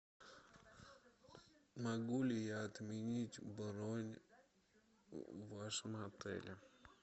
могу ли я отменить бронь в вашем отеле